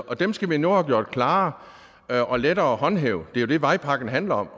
og dem skal vi nu have gjort klarere og lettere at håndhæve det er det vejpakken handler om